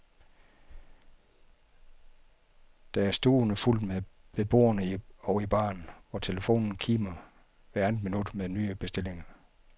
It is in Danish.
Der er stuvende fuldt ved bordene og i baren, hvor telefonen kimer hvert andet minut med nye bestillinger.